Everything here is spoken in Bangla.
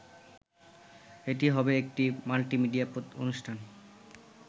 এটি হবে একটি মাল্টিমিডিয়া অনুষ্ঠান